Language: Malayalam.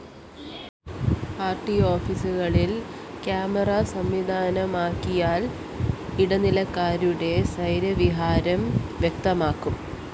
ആര്‍ടി ഓഫീസുകളില്‍ കാമറ സംവിധാനമൊരുക്കിയാല്‍ ഇടനിലക്കാരുടെ സൈ്വര്യവിഹാരം വ്യക്തമാകും